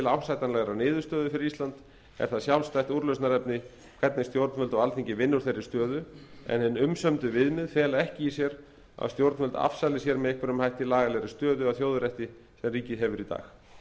ásættanlegrar niðurstöðu fyrir ísland er það sjálfstætt úrlausnarefni hvernig stjórnvöld og alþingi vinna úr þeirri stöðu en hin umsömdu viðmið fela ekki í sér að stjórnvöld afsali sér með einhverjum hætti lagalegri stöðu að þjóðarétti sem ríkið hefur í dag